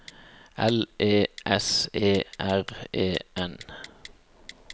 L E S E R E N